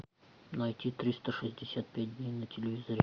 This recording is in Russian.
найти триста шестьдесят пять дней на телевизоре